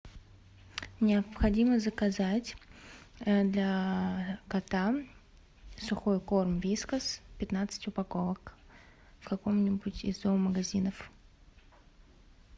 необходимо заказать для кота сухой корм вискас пятнадцать упаковок в каком нибудь из зоомагазинов